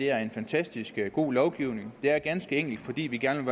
er en fantastisk god lovgivning det er ganske enkelt fordi vi gerne